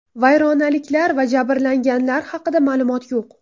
Vayronaliklar va jabrlanganlar haqida ma’lumot yo‘q.